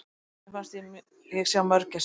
Mér fannst ég sjá mörgæsir!